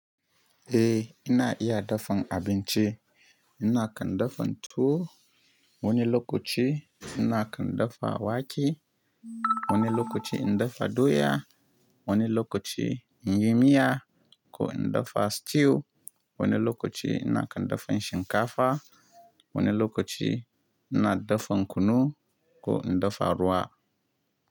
Eh ina iya dafan abinci. Nakan dafan tuwo, wani lokaci nakan dafa wake, wani lokaci in dafa doya, wani lokaci in yi miya ko in dafa stew, wani lokaci nakan dafan shinkafa, wani lokaci ina dafan kunu ko in dafa ruwa.